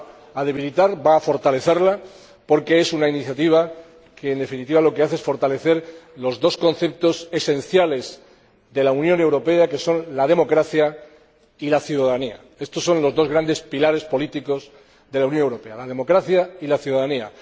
va a fortalecerla, porque es una iniciativa que, en definitiva, refuerza los dos conceptos esenciales de la Unión Europea como son la democracia y la ciudadanía. Estos son los dos grandes pilares políticos de la Unión Europea la democracia y la ciudadanía.